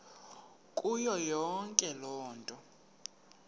kuyo yonke loo